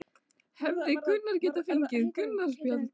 Hefði hann geta fengið rautt spjald?